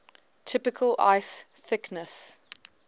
typical ice thickness